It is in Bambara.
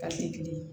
kelen ye